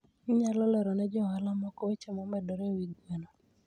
Inyalo lero ne jo ohala moko weche momedore e wi gweno.